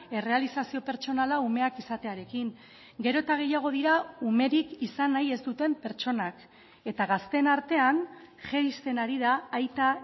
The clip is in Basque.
errealizazio pertsonala umeak izatearekin gero eta gehiago dira umerik izan nahi ez duten pertsonak eta gazteen artean jaisten ari da aita